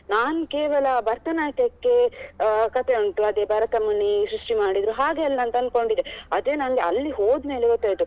ನಾನು ಕೇವಲ ಭರತನಾಟ್ಯಕ್ಕೆ ಅಹ್ ಕಥೆ ಉಂಟು ಅದೇ ಭರತಮುನಿ ಸೃಷ್ಟಿ ಮಾಡಿದ್ರು ಹಾಗೆಲ್ಲ ಅಂದ್ಕೊಂಡಿದ್ದೆ ಅದೇ ನಂಗೆ ಅಲ್ಲಿ ಹೋದ್ಮೇಲೆ ಗೊತ್ತಾಯ್ತು